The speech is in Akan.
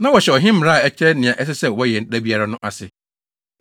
Na wɔhyɛ ɔhene mmara a ɛkyerɛ nea ɛsɛ sɛ wɔyɛ da biara no ase.